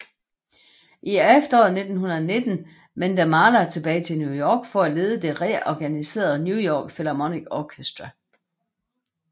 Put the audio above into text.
I efteråret 1909 vendte Mahler tilbage til New York for at lede det reorganiserede New York Philharmonic Orchestra